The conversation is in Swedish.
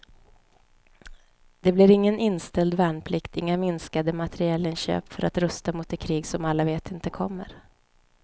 Det blir ingen inställd värnplikt, inga minskade materielinköp för att rusta mot det krig som alla vet inte kommer.